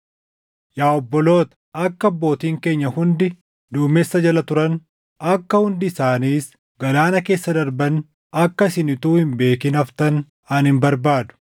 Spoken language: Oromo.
Yaa obboloota, akka abbootiin keenya hundi duumessa jala turan, akka hundi isaaniis galaana keessa darban akka isin utuu hin beekin haftan ani hin barbaadu.